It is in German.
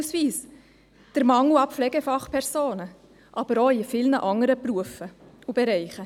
So besteht beispielsweise ein Mangel an Pflegefachpersonen, aber auch an anderen Berufsleuten.